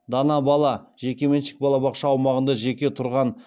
дана бала жекеменшік балабақша аумағында жеке тұрған